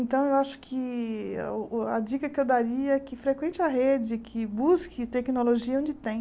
Então, eu acho que o o a dica que eu daria é que frequente a rede, que busque tecnologia onde tem.